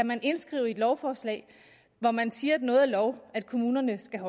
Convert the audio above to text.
man kan indskrive i et lovforslag hvor man siger at noget er lov at kommunerne skal